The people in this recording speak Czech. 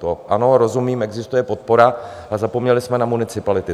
To ano, rozumím, existuje podpora, ale zapomněli jsme na municipality.